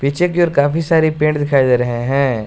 पीछे की ओर काफी सारे पेड़ दिखाई दे रहे हैं।